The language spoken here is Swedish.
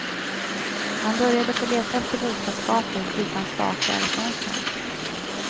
Man började få leta efter bostadsgator utan stakar i fönstren.